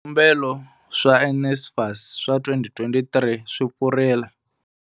Swikombelo swa NSFAS swa 2023 swi pfurile.